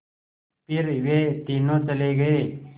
फिर वे तीनों चले गए